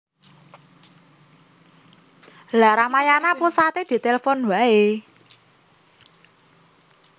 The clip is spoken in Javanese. Lha Ramayana pusate ditelfon wae